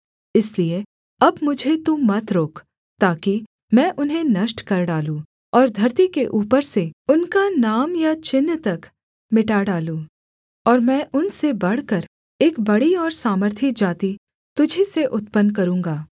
इसलिए अब मुझे तू मत रोक ताकि मैं उन्हें नष्ट कर डालूँ और धरती के ऊपर से उनका नाम या चिन्ह तक मिटा डालूँ और मैं उनसे बढ़कर एक बड़ी और सामर्थी जाति तुझी से उत्पन्न करूँगा